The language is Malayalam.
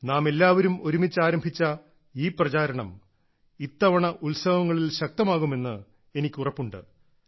നാം എല്ലാവരും ഒരുമിച്ച് ആരംഭിച്ച ഈ പ്രചാരണം ഇത്തവണ ഉത്സവങ്ങളിൽ ശക്തമാകുമെന്ന് എനിക്ക് ഉറപ്പുണ്ട്